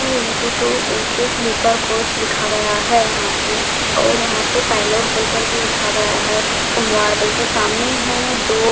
to into two A_ C sleeper coach लिखा गया है यहाँ पे और यहाँ पे भी लिखा गया है के सामने है दो --